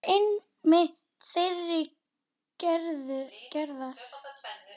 Magnús var einmitt þeirrar gerðar.